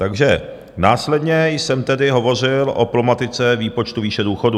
Takže následně jsem tedy hovořil o problematice výpočtu výše důchodů.